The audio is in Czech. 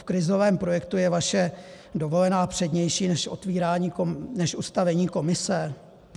V krizovém projektu je vaše dovolená přednější než ustavení komise?